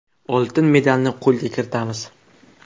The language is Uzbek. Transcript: Oltin medalni qo‘lga kiritamiz”.